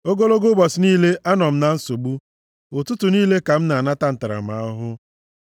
Ogologo ụbọchị niile, anọ m na nsogbu; ụtụtụ niile ka m na-anata ntaramahụhụ.